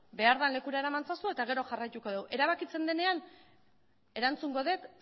behar den lekura eraman ezazu eta gero jarraituko dugu erabakitzen denean erantzungo dut